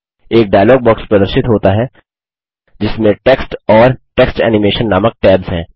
एक dialog box प्रदर्शित होता है जिसमें टेक्स्ट और टेक्स्ट एनिमेशन नामक टैब्स हैं